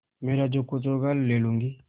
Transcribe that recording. मेरा जो कुछ होगा ले लूँगी